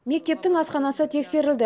мектептің асханасы тексерілді